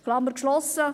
Klammer geschlossen.